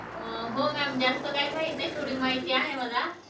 अं हो ma'am, जास्त काही माहित नाही, थोडी माहिती आहे मला.